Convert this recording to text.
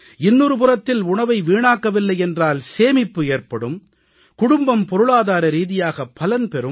இன்னொரு புறத்தில் உணவை வீணாக்கவில்லை என்றால் சேமிப்பு ஏற்படும் குடும்பம் பொருளாதார ரீதியாக பலன் பெறும்